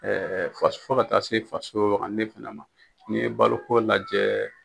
faso fo ka taa se faso wagane fana ma n'i ye baloko lajɛ.